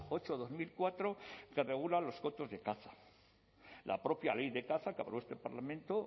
ocho barra dos mil cuatro que regula los cotos de caza la propia ley de caza que aprobó este parlamento